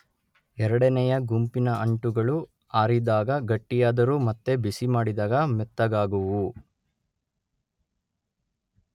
ಎರಡನೆಯ ಗುಂಪಿನ ಅಂಟುಗಳು ಆರಿದಾಗ ಗಟ್ಟಿಯಾದರೂ ಮತ್ತೆ ಬಿಸಿ ಮಾಡಿದಾಗ ಮೆತ್ತಗಾಗುವುವು.